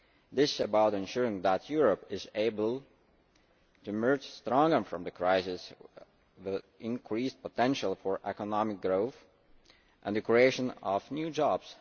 This is about ensuring that Europe is able to emerge stronger from the crisis, with increased potential for economic growth and the creation of new jobs.